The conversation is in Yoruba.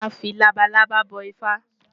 Màá fi labalábá bọ Ifá.